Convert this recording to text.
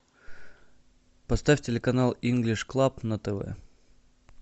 поставь телеканал инглиш клаб на тв